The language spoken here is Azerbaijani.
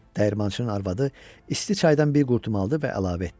dəyirmançının arvadı isti çaydan bir qurtum aldı və əlavə etdi.